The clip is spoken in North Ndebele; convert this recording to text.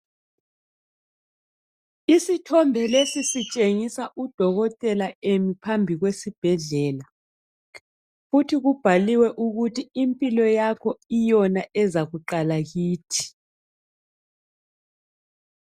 Isithombe lesi sitshengisa udokotela emi phambi kwesibhedlela futhi kubhaliwe ukiluthi impilo yakho yiyo eza kuqalalaa kithi.